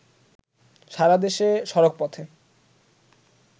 সারাদেশে সড়কপথে